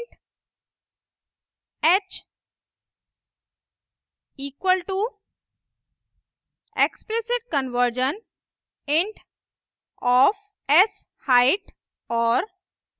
int h equal to explicit conversion int of sheight और